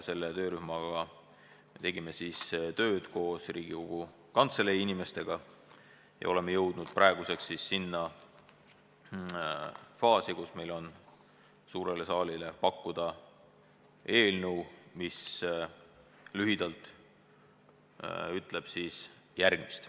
Selle töörühmaga me tegime tööd koos Riigikogu Kantselei inimestega ja oleme praeguseks jõudnud faasi, kus meil on suurele saalile pakkuda eelnõu, mis lühidalt ütleb järgmist.